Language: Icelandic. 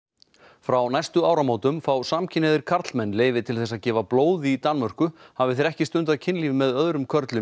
frá næstu áramótum fá samkynhneigðir karlmenn leyfi til þess að gefa blóð í Danmörku hafi þeir ekki stundað kynlíf með öðrum körlum í